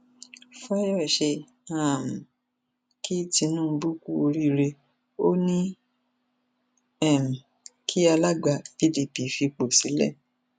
fàyọṣe um kí tinubu kú oríire ó ní um kí alága pdp fipò sílẹ